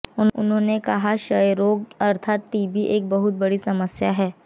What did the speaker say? उन्होंने कहा कि क्षयरोग अर्थात टीबी एक बहुत बड़ी समस्या है